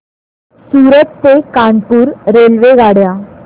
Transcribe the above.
सूरत ते कानपुर रेल्वेगाड्या